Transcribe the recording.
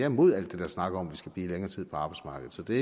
imod al den snak om at vi skal blive længere tid på arbejdsmarkedet så det